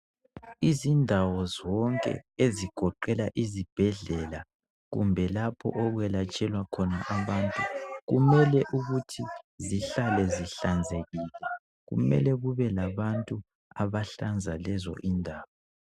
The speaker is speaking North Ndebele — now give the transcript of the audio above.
izindawo zonke ezigoqela izibhedlela kumbe lapho okwelatshenlwa khona abantu kumele ukuthi zihlale zihlanzekile kumele kube labantu abahlanza lezo zindawo